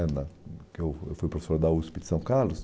né na que eu Eu fui professor da USP de São Carlos.